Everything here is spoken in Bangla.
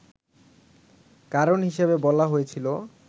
কারণ হিসেবে বলা হয়েছিল